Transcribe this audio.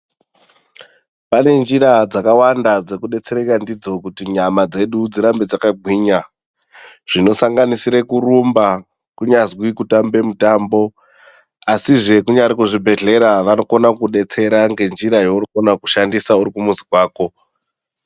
Pane njira dzakavanda dzekudetsereka ndidzo kuti nyama dzedu dzirambe dzakagwinya zvinosanganisisre kurumba, kunyazwi kutambe mutambo asizve kunyaazwi kuzvibhehlera vanokona kukudetsera nenjira yaunokona kushandisa uri kumuzi kwako.